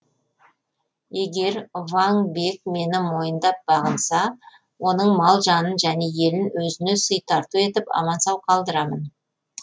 егер ваң бек мені мойындап бағынса оның мал жанын және елін өзіне сый тарту етіп аман сау қалдырамын